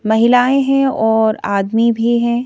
महिलाएं है और आदमी भी हैं।